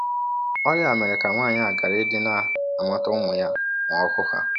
Ọrịa a mere ka nwaanyị a gharadị ịna - amata ụmụ ya ma ọ hụ ha.